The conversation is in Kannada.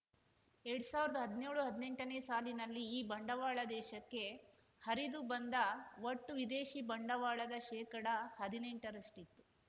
ಎರಡ್ ಸಾವಿರ್ದಾ ಹದ್ನ್ಯೋಳುಹದ್ನೆಂಟನೇ ಸಾಲಿನಲ್ಲಿ ಈ ಬಂಡವಾಳ ದೇಶಕ್ಕೆ ಹರಿದು ಬಂದ ಒಟ್ಟು ವಿದೇಶಿ ಬಂಡವಾಳದ ಶೇಕಡ ಹದಿನೆಂಟರಷ್ಟಿತ್ತು